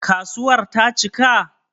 Kasuwar ta cika?